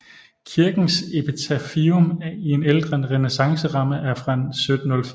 Kirkens epitafium i en ældre renæssanceramme er fra 1704